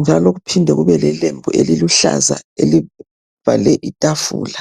njalo kuphinde kube lelembu eliluhlaza elivale itafula.